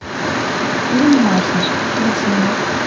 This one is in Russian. фильм маша включи мне